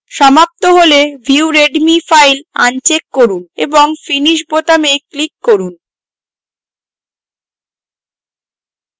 সমাপ্ত হলে view readme file uncheck করুন এবং finish বোতামে click করুন